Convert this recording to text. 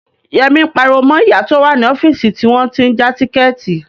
Yẹmí ń pariwo mọ ìyá tó wà ní ọ́fíìsì tí wọ́n tí ń ja tíkẹ̀ẹ̀tì